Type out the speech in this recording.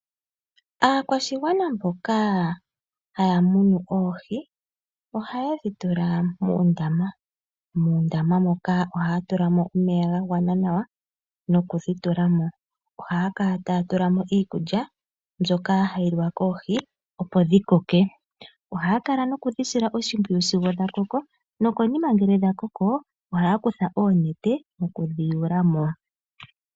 Aakwashigwana mboka haya munu oohi ihaye dhi tula muundama, muundama moka ohaya tulamo omeya ga gwana nawa noku dhi tulamo. Ohaya kala taya tulamo iikulya mbyoka hayi liwa koohi, opo dhi koke. Ohaya kala noku dhi sila oshimpwiyu sigo dha koko. Nokonima ngele dha koko ohaya kutha oonete oku di yuulamo.